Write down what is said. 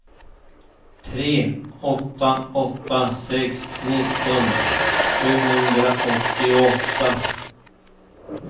tre åtta åtta sex nittio sjuhundraåttioåtta